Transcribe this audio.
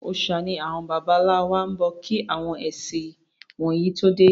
Òòsà ni àwọn bàbá ńlá wa ń bọ kí àwọn ẹ̀sìn wọ̀nyí tó dé.